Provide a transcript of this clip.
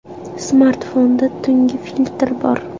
Smartfonda tungi filtr bor.